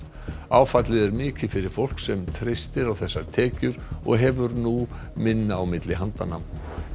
áfallið er mikið fyrir fólk sem treystir á þessar tekjur og hefur nú minna á milli handanna